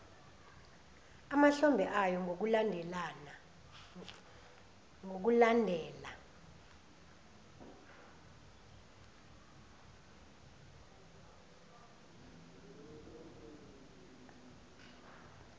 emahlombe ayo ngokulandela